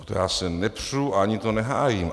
O to já se nepřu a ani to nehájím.